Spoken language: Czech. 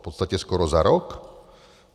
V podstatě skoro za rok?